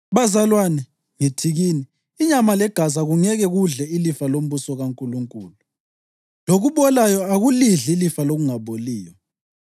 Bazalwane, ngithi kini inyama legazi akungeke kudle ilifa lombuso kaNkulunkulu, lokubolayo akulidli ilifa lokungaboliyo.